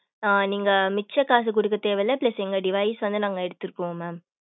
ஆஹ் நீங்க மிச்ச காசு கொடுக்க தேவையில்லை plus எங்க device வந்து நாங்க எடுத்துக்குவோம் mam